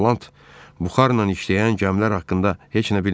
Ton Plat buxarla işləyən gəmilər haqqında heç nə bilmirdi.